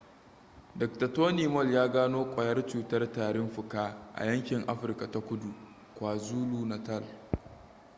dokta tony moll ya gano kwayar cutar tarin fuka xdr-tb a yankin afirka ta kudu kwazulu-natal